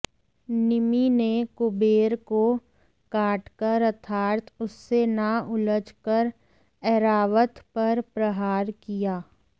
निमि ने कुबेर को काट कर अर्थात उससे न उलझ कर एरावत पर प्रहार किया